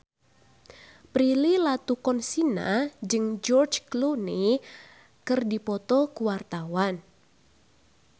Prilly Latuconsina jeung George Clooney keur dipoto ku wartawan